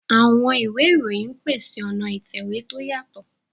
Àwọn ìwé ìròyìn ń pèsè ọ̀nà ìtẹ̀wé tó yàtọ̀.